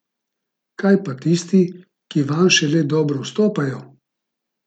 Kaj pa tisti, ki vanj šele dobro vstopajo?